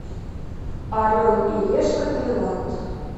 орел и решка тайланд